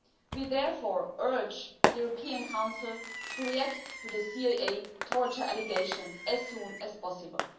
We therefore urge the European Council to react to the CIA torture allegations as soon as possible.